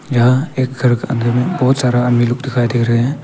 यहां एक में बहुत सारा आदमी लोग दिखाई दे रहे हैं।